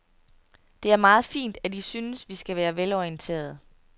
Det er meget fint, at I synes, vi skal være velorienterede.